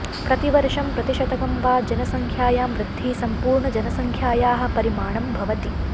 प्रतिवर्षं प्रतिशतकं वा जनसङ्ख्यायां वृद्धिः सम्पूर्णजनसङ्ख्यायाः परिमाणं भवति